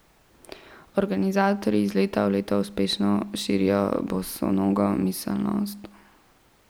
Organizatorji iz leta v leto uspešno širijo bosonogo miselnost.